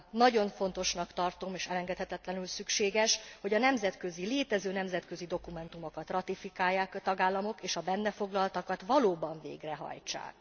Nagyon fontosnak tartom és elengedhetetlenül szükséges, hogy a nemzetközi, létező nemzetközi dokumentumokat ratifikálják a tagállamok, és a benne foglaltakat valóban végrehajtsák.